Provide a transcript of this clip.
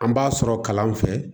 An b'a sɔrɔ kalan fɛ